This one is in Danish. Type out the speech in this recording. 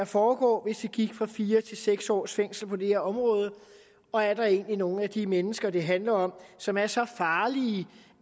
foregå hvis vi gik fra fire til seks års fængsel på det her område og er der egentlig nogle af de mennesker det handler om som er så farlige